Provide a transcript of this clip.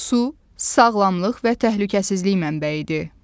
Su sağlamlıq və təhlükəsizlik mənbəyidir.